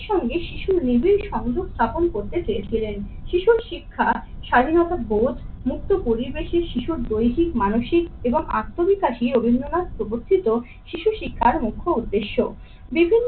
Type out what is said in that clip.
সঙ্গে শিশুর নিবিড় সংযোগ স্থাপন করতে চেয়েছিলেন। শিশুর শিক্ষা, স্বাধীনতা বোধ, মুক্ত পরিবেশের শিশুর দৈহিক, মানসিক এবং আত্মবিকাশী রবীন্দ্রনাথ প্রবর্তিত শিশু শিক্ষার মুখ্য উদ্দেশ্য। বিভিন্ন